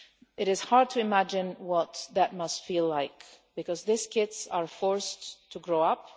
It is hard to imagine what that must feel like because these kids are forced to grow up.